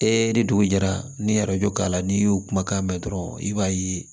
E de dugu jɛra n'i ye k'a la n'i y'o kumakan mɛn dɔrɔn i b'a ye